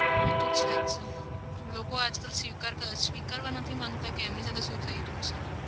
એતો છે જ ને. લોકો આજકાલ સ્વીકારતા, સ્વીકારવા નથી માંગતા કે એમની સાથે શું થઇ રહ્યું છે?